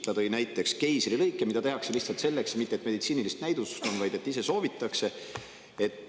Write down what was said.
Ta tõi näiteks keisrilõike, mida tehakse mitte sellepärast, et selleks on meditsiiniline näidustus, vaid omal soovil.